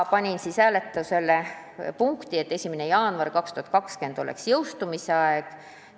Panin hääletusele punkti, et 1. jaanuar 2020 oleks jõustumise aeg.